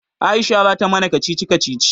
Aisha zata mana kacici kacici.